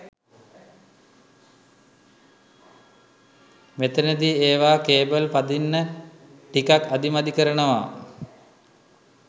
මෙතනදි ඒවා කේබල් පදින්න ටිකක් අදිමදි කරනවා.